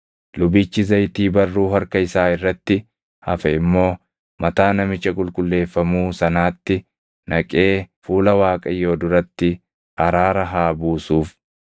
Lubichi zayitii barruu harka isaa irratti hafe immoo mataa namicha qulqulleeffamuu sanaatti naqee fuula Waaqayyoo duratti araara haa buusuuf.